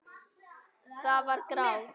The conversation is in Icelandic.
Það var grátt.